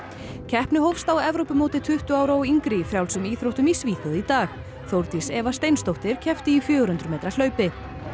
keppni hófst á Evrópumóti tuttugu ára og yngri í frjálsum íþróttum í Svíþjóð í dag Þórdís Eva Steinsdóttir keppti í fjögur hundruð metra hlaupi